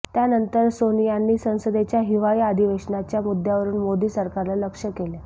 त्यानंतर सोनियांनी संसदेच्या हिवाळी अधिवेशनाच्या मुद्द्यावरून मोदी सरकारला लक्ष्य केलं